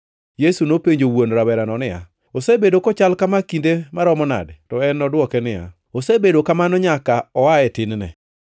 Yesu nopenjo wuon rawerano niya, “Osebedo kochal kama kinde maromo nade?” To en nodwoke niya, “Osebedo kamano nyaka oa e tin-ne.